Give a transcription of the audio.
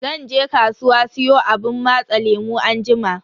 Zan je kasuwa siyo abun matsa lemu anjima.